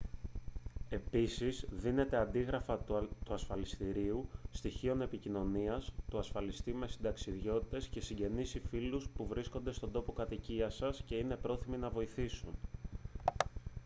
επίσης δίνετε αντίγραφα του ασφαλιστηρίου / στοιχείων επικοινωνίας του ασφαλιστή σε συνταξιδιώτες και συγγενείς ή φίλους που βρίσκονται στον τόπο κατοικίας σας και είναι πρόθυμοι να βοηθήσουν